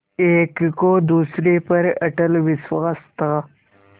एक को दूसरे पर अटल विश्वास था